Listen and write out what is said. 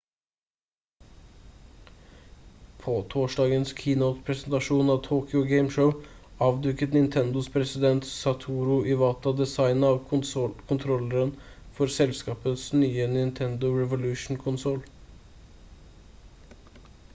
på torsdagens keynote-presentasjon av tokyo game show avduket nintendos president satoru iwata designet av kontrolleren for selskapets nye nintendo revolution-konsoll